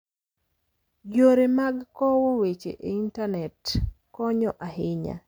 Yore mag kowo weche e Intanet konyo ahinya.